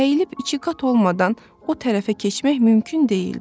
əyilib ikiqat olmadan o tərəfə keçmək mümkün deyildi.